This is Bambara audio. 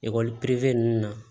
Ekɔli pere ninnu na